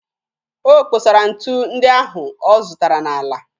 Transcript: O kposara ntu ndị ahụ ọ zụtara n'ala